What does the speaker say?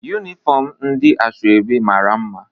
Yụnifọm ndị asoebi mara mma